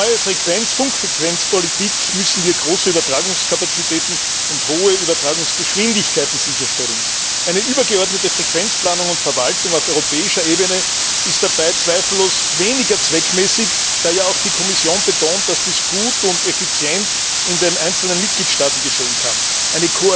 Durch neue Funkfrequenzpolitik müssen wir große Übertragungskapazitäten und hohe Übertragungsgeschwindigkeiten sicherstellen. Eine übergeordnete Frequenzplanung und verwaltung auf europäischer Ebene ist dabei zweifellos weniger zweckmäßig, da ja auch die Kommission betont, dass dies in den einzelnen Mitgliedstaaten gut und effizient erfolgen kann.